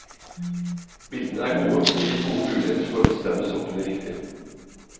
Bildene er gode og gir gode muligheter for å bestemme soppene riktig.